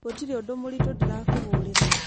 gũtirĩ ũndũ mũrĩtũ ndĩrakũhũrĩra